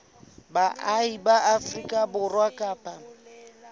baahi ba afrika borwa kapa